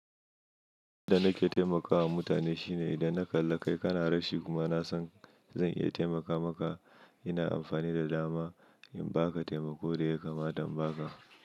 Yanda nake taimakawa mutane shine idan na kalla kai kana rashi kuma nasan zan iya taimaka maka, ina amfani da dama in ba ka taimako da ya kamata ba ka.